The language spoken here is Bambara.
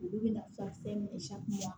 Olu bɛna furakisɛ minɛ